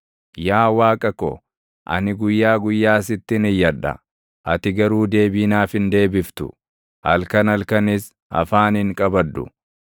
Yaa Waaqa ko, ani guyyaa guyyaa sittin iyyadha; ati garuu deebii naaf hin deebiftu; halkan halkanis afaan hin qabadhu.